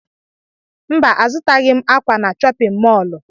Mba, azụtaghị m ákwà na chọpịn mọọlụ.